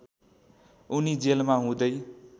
उनी जेलमा हुँदै